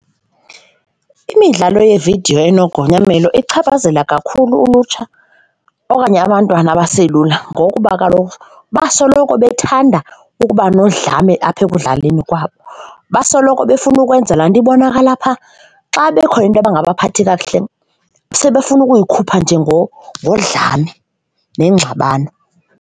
Imidlalo yeevidiyo enogonyamelo ichaphazela kakhulu ulutsha okanye abantwana abaselula ngokuba kaloku basoloko bethanda ukuba nodlame apha ekudlaleni kwabo, basoloko befuna ukwenza laa nto ibonakala phaa. Xa bekhona intoba engabaphathi kakuhle sebefuna ukuyikhupha nje ngodlame nengxabano.